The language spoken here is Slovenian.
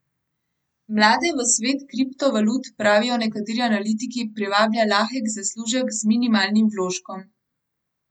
Mlade v svet kriptovalut, pravijo nekateri analitiki, privablja lahek zaslužek z minimalnim vložkom.